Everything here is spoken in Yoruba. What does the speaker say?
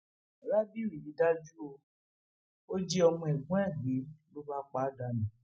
rábìú yìí dájú o ò jí ọmọ ẹgbọn ẹ gbé ló bá pa á dànù